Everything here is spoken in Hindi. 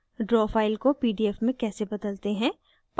draw file को pdf में कैसे बदलते हैं